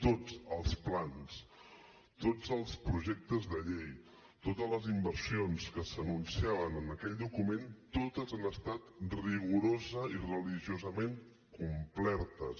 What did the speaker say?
tots els plans tots els projectes de llei totes les inversions que s’anunciaven en aquell document totes han estat rigorosament i religiosament complertes